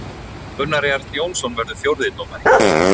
Gunnar Jarl Jónsson verður fjórði dómari.